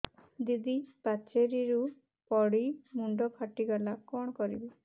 ଦିଦି ପାଚେରୀରୁ ପଡି ମୁଣ୍ଡ ଫାଟିଗଲା କଣ କରିବି